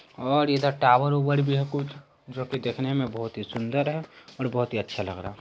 और इधर टावर -वॉवेर भी है कुछ जो की देखने मैं बहुत ही सुन्दर है और बहुत ही अच्छा लग रहा है।